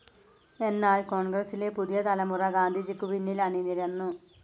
എന്നാൽ കോൺഗ്രസ്സിലെ പുതിയ തലമുറ ഗാന്ധിജിക്കു പിന്നിൽ അണിനിരന്നു.